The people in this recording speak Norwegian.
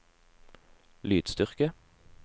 lydstyrke